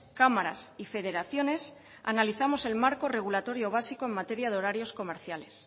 cámaras y federaciones analizamos el marco regulatorio básico en materia de horarios comerciales